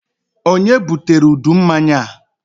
Ònye butere udu mmanya a?